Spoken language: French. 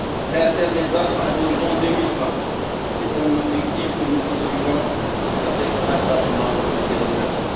Faire taire les armes à l'horizon 2020 est un objectif que nous poursuivons avec acharnement et détermination.